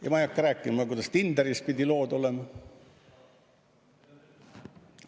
Ja ma ei hakka rääkima, kuidas Tinderis pidid lood olema.